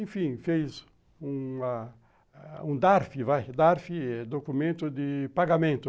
Enfim, fez um dar fê, documento de pagamento.